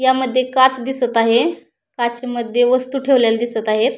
या मध्ये काच दिसत आहे काचे मध्ये वस्तु ठेवलेल्या दिसत आहेत.